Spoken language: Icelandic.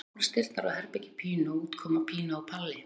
Þá opnast dyrnar á herbergi Pínu og út koma Pína og Palli.